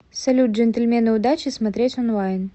салют джентльмены удачи смотреть онлайн